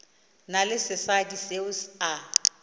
na le sesadi seo a